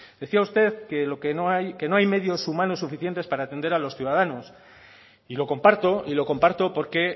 decía usted que lo que no hay que no hay medios humanos suficientes para atender a los ciudadanos y lo comparto y lo comparto porque